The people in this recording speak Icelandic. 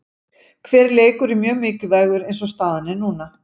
Hver leikur er mjög mikilvægur eins og staðan er núna.